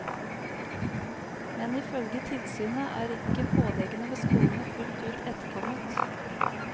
Men ifølge tilsynet er ikke påleggene ved skolene fullt ut etterkommet.